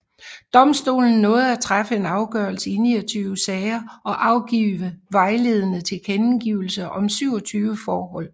Domstolen nåede at træffe afgørelse i 29 sager og afgive vejledende tilkendegivelser om 27 forhold